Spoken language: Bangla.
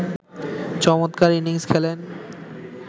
চমৎকার ইনিংস খেলেন